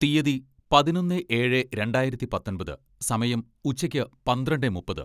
തീയതി, പതിനൊന്നേ ഏഴെ രണ്ടായിരത്തി പത്തൊമ്പത് സമയം, ഉച്ചയ്ക്ക് പന്ത്രണ്ടെ മുപ്പത്